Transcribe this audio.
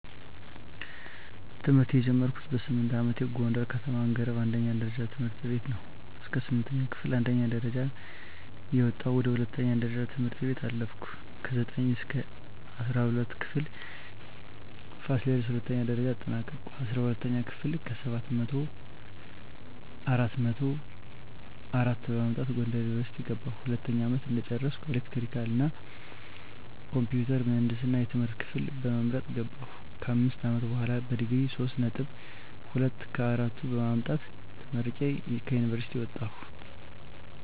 ትምህርት የጀመርኩት በስምንት አመቴ ጎንደር ከተማ አንገረብ አንደኛ ደረጃ ትምህርት ቤት ነው። እስከ ስምንተኛ ክፍል አንደኛ ደረጃ እየወጣሁ ወደ ሁለተኛ ደረጃ ትምህርት ቤት አለፍኩ። ከዘጠኝ እስከ እስራ ሁለተኛ ክፍል ፋሲለደስ ሁለተኛ ደረጃ አጠናቀኩኝ። አስራ ሁለተኛ ክፍል ከሰባት መቶው አራት መቶ አራት በማምጣት ጎንደር ዩኒቨርሲቲ ገባሁ። ሁለተኛ አመት እንደጨረስኩ ኤሌክትሪካል እና ኮምፒውተር ምህንድስና የትምህርት ክፍል በመምረጥ ገባሁ። ከአምስት አመት በሆላ በዲግሪ ሶስት ነጥብ ሁለት ከአራቱ በማምጣት ተመርቄ ከዩኒቨርሲቲ ወጣሁ።